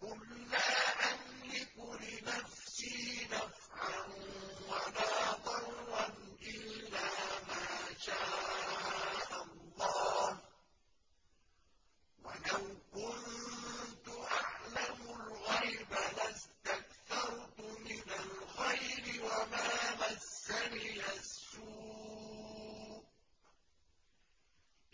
قُل لَّا أَمْلِكُ لِنَفْسِي نَفْعًا وَلَا ضَرًّا إِلَّا مَا شَاءَ اللَّهُ ۚ وَلَوْ كُنتُ أَعْلَمُ الْغَيْبَ لَاسْتَكْثَرْتُ مِنَ الْخَيْرِ وَمَا مَسَّنِيَ السُّوءُ ۚ